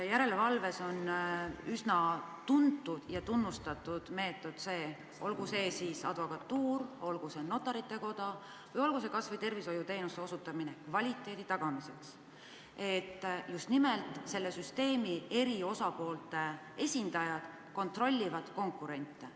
Järelevalves on üsna tuntud ja tunnustatud meetod selline – olgu see advokatuur, olgu see Notarite Koda või olgu see kas või tervishoiuteenuste osutamise kvaliteedi kontroll –, et just nimelt konkreetse süsteemi eri osapoolte esindajad kontrollivad konkurente.